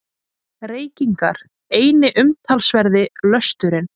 Reykingar eini umtalsverði lösturinn.